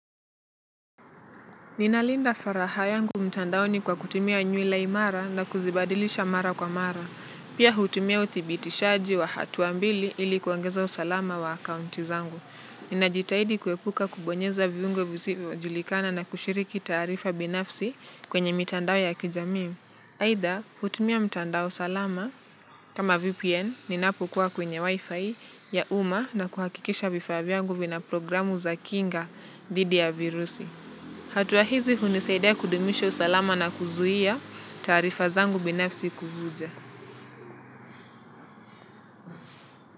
Ninalinda faraha yangu mtandaoni kwa kutumia nywila imara na kuzibadilisha mara kwa mara. Pia hutumia uthibitishaji wa hatua mbili ili kuongeza usalama wa akaunti zangu. Ninajitahidi kuepuka kubonyeza viungo visivyojulikana na kushiriki taarifa binafsi kwenye mitandao ya kijamii. Aidha hutumia mtandao salama kama VPN ninapokuwa kwenye wifi ya uma na kuhakikisha vifaa vyangu vina programu za kinga dhidi ya virusi. Hatua hizi hunisaidia kudumisha usalama na kuzuia taarifa zangu binafsi kuvuja.